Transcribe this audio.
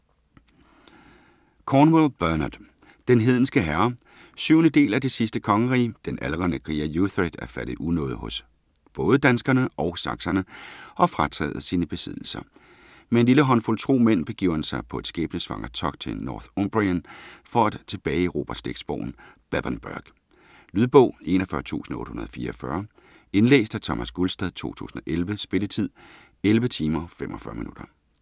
Cornwell, Bernard: Den hedenske herre 7. del af Det sidste kongerige. Den aldrende kriger Uhtred er faldet i unåde hos både danskerne og sakserne og frataget sine besiddelser. Med en lille håndfuld tro mænd begiver han sig på et skæbnesvangert togt til Northumbrien for at tilbageerobre slægtsborgen Bebbanburg. Lydbog 41844 Indlæst af Thomas Gulstad, 2011. Spilletid: 11 timer, 45 minutter.